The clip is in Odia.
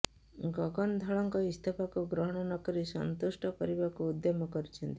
ଗଗନ ଧଳଙ୍କ ଇସ୍ତଫାକୁ ଗ୍ରହଣ ନକରି ସନ୍ତୁଷ୍ଟ କରିବାକୁ ଉଦ୍ୟମ କରିଛନ୍ତି